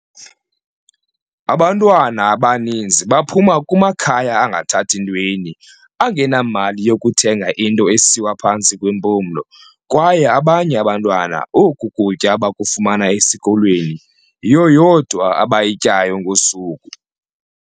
"Abantwana abaninzi baphuma kumakhaya angathathi ntweni, angenamali yokuthenga into esiwa phantsi kwempumlo, kwaye abanye abantwana oku kutya bakufumana esikolweni, yiyo yodwa abayityayo ngosuku."